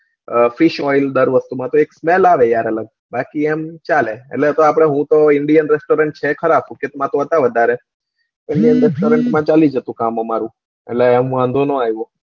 અમ fish oil દરવખતે માં તો smel આવે અલગ યાર બાકી એમ ચાલે એટલે હું તો આમ indan restorant છે ખરા સુકેત માં તો છે વધારે ચાલી જતું કામ અમારું એટલે આમ વાંધો ના આયો